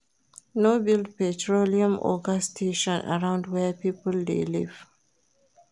No build petroluem or gas station arround where pipo de live